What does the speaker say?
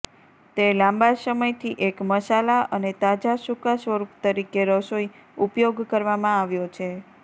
તે લાંબા સમયથી એક મસાલા અને તાજા સૂકાં સ્વરૂપ તરીકે રસોઈ ઉપયોગ કરવામાં આવ્યો છે